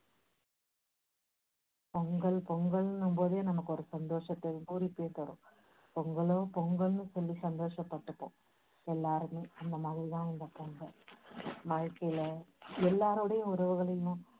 பொங்கல் பொங்கல்னும் போதே நமக்கு ஒரு சந்தோஷத்தை பூரிப்பையும் தரும். பொங்கலோ பொங்கல்னு சொல்லி சந்தோஷப் பட்டுப்போம் எல்லாருமே அந்த மாதிரி தான் இந்த பொங்கல் வாழ்க்கையில எல்லாருடையும் உறவுகளையும்